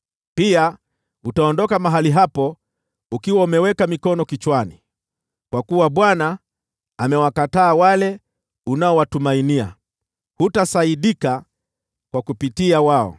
Pia utaondoka mahali hapo ukiwa umeweka mikono kichwani, kwa kuwa Bwana amewakataa wale unaowatumainia; hutasaidiwa nao.